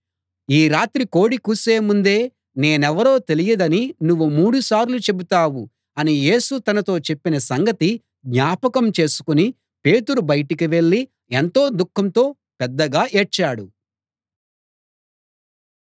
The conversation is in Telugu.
ఈ రాత్రి కోడి కూసే ముందే నేనెవరో తెలియదని నువ్వు మూడుసార్లు చెబుతావు అని యేసు తనతో చెప్పిన సంగతి జ్ఞాపకం చేసుకుని పేతురు బయటికి వెళ్ళి ఎంతో దుఃఖంతో పెద్దగా ఏడ్చాడు